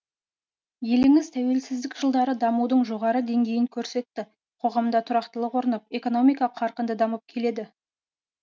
еліңіз тәуелсіздік жылдары дамудың жоғары деңгейін көрсетті қоғамда тұрақтылық орнап экономика қарқынды дамып келеді